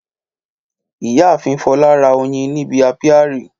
Ìyáàfin Fọlá ra oyin ní ibi ápíárì